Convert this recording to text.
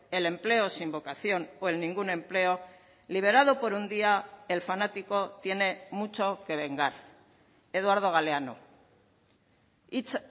el empleo sin vocación o en ningún empleo liberado por un día el fanático tiene mucho que vengar eduardo galeano hitz